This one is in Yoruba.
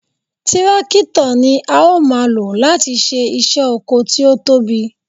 Tírákítọ̀ ni a ó máa lò láti ṣe iṣẹ́ oko tí ó tóbi